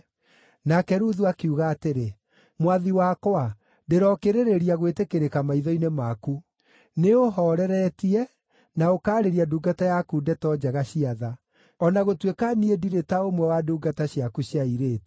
Nake Ruthu akiuga atĩrĩ, “Mwathi wakwa, ndĩrookĩrĩrĩria gwĩtĩkĩrĩka maitho-inĩ maku. Nĩũũhooreretie, na ũkaarĩria ndungata yaku ndeto njega cia tha, o na gũtuĩka niĩ ndirĩ ta ũmwe wa ndungata ciaku cia airĩtu.”